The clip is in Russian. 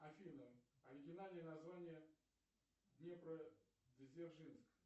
афина оригинальное название днепродзержинск